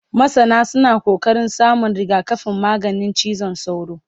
masana suna ƙoƙarin samun rigakafin maganin cizon sauro